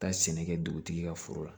Taa sɛnɛ kɛ dugutigi ka foro la